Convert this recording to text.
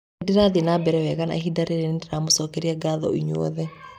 Nĩndĩrathiĩ na mbere wega na ihinda rĩrĩ na ngamũcokeria ngatho inyuothe.